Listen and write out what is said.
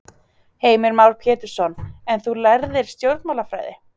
Heimir Már Pétursson: En þú lærðir stjórnmálafræði?